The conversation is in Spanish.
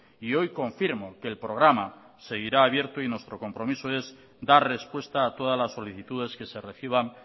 y hoy confirmo que el programa seguirá abierto y nuestro compromiso es dar respuesta a todas las solicitudes que se reciban